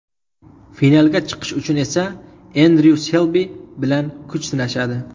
Finalga chiqish uchun esa Endryu Selbi bilan kuch sinashadi.